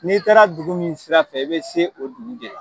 N'i taara dugu min sira fɛ i bɛ se o dugu de la.